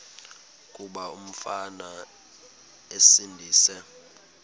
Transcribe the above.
kuba umfana esindise